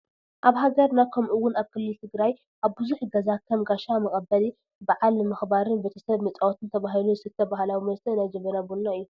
ኣብ ሃገርና ከምኡ ውን ኣብ ክልል ትግራይ ኣብ ብዙሕ ገዛ ከም ጋሻ መቐበል፣ በዓል ንምኽባርን ቤተ ሰብ መፃወትን ተባሂሉ ዝስተይ ባህላዊ መስተ ናይ ጀበና ቡና እዩ፡፡